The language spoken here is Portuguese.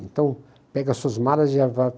Então, pega suas malas e já